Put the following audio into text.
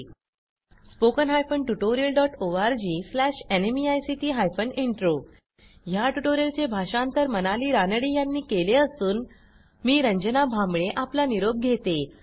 spoken hyphen tutorial dot O R G slash NMEICT hyphen intro ह्या ट्युटोरियलचे भाषांतर मनाली रानडे यांनी केले असून आवाज रंजना भांबळे यांनी दिलेला आहे